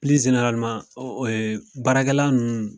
baarakɛ la ninnu